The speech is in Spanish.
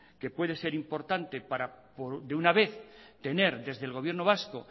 que puede ser importante para de una vez tener desde el gobierno vasco